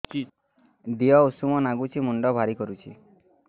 ଦିହ ଉଷୁମ ନାଗୁଚି ମୁଣ୍ଡ ଭାରି କରୁଚି